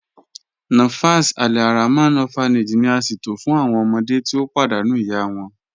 Nafas Alrahman Orphanage ni a ṣẹto fun awọn ọmọde ti o padànú iya wọn.